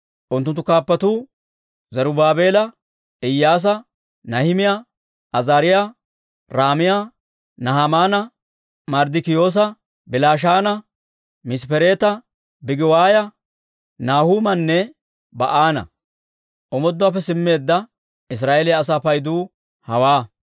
Unttunttu kaappatuu Zarubaabeela, Iyyaasa, Nahimiyaa, Azaariyaa, Ra'aamiyaa, Nahamaana, Marddikiyoosa, Bilishaana, Misppereeta, Bigiwaaya, Nahuumanne Ba'aana. Omooduwaappe simmeedda Israa'eeliyaa asaa paydu hawaa.